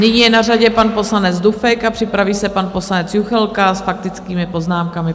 Nyní je na řadě pan poslanec Dufek a připraví se pan poslanec Juchelka s faktickými poznámkami.